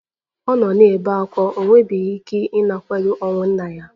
Ọ nọwo na-ebe ákwá, o nwebeghị ike ịnakwere ọnwụ nna ya